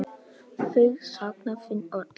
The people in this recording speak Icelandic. Þau sakna þín öll.